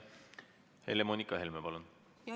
Helle-Moonika Helme, palun!